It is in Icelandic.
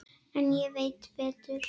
En ég veit betur.